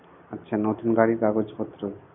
আচ্ছা নতুন গাড়ির কাগজপত্র